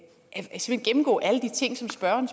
gennemgå alle de ting som spørgeren